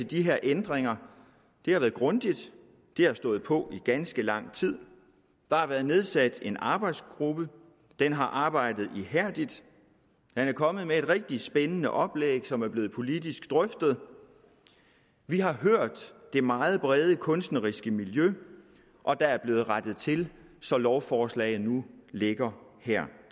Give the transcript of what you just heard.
de her ændringer har været grundigt det har stået på i ganske lang tid der har været nedsat en arbejdsgruppe den har arbejdet ihærdigt den er kommet med et rigtig spændende oplæg som er blevet drøftet politisk vi har hørt det meget brede kunstneriske miljø og der er blevet rettet til så lovforslaget nu ligger her